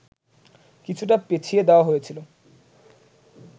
কিছুটা পেছিয়ে দেওয়া হয়েছিল